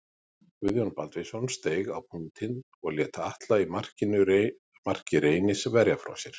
Guðjón Baldvinsson steig á punktinn en lét Atla í marki Reynis verja frá sér.